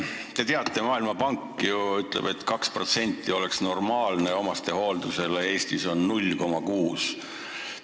Te teate, et Maailmapank ütleb, et 2% SKT-st oleks normaalne omastehooldusele eraldada, Eestis on see 0,6%.